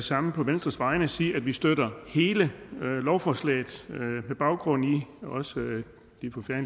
samme på venstres vegne sige at vi støtter hele lovforslaget med baggrund også